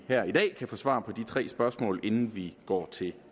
her i dag kan få svar på de tre spørgsmål inden vi går til